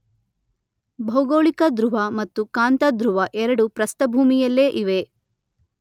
ಭೌಗೋಳಿಕ ಧ್ರುವ ಮತ್ತು ಕಾಂತಧ್ರುವ ಎರಡು ಪ್ರಸ್ಥಭೂಮಿಯಲ್ಲೇ ಇವೆ.